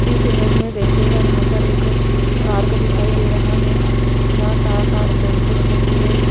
इस इमेज में देखिएगा यहां पर एक पार्क दिखाई दे रहा है जहां चार पांच बेंचेज लगी है।